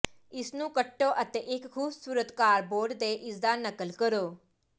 ਇਸਨੂੰ ਕੱਟੋ ਅਤੇ ਇੱਕ ਖੂਬਸੂਰਤ ਕਾਰਡਬੋਰਡ ਤੇ ਇਸਦਾ ਨਕਲ ਕਰੋ